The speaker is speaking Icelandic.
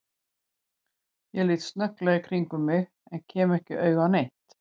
Ég lít snögglega í kringum mig en kem ekki auga á neitt.